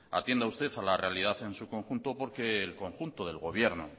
atienda usted a la realidad en su conjunto porque el conjunto del gobierno